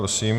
prosím.